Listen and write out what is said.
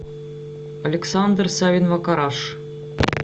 александр савин макараш